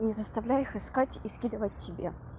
не заставляй их искать и скидывать тебе